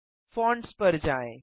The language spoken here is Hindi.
फोंट्स पर जाएँ